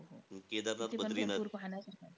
Kedarnath, Badrinath.